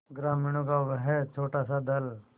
ग्रामीणों का वह छोटासा दल